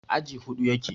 aji Hudu yake